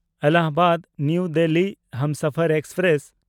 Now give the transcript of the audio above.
ᱮᱞᱟᱦᱟᱵᱟᱫ–ᱱᱟᱣᱟ Delhi Humsafar express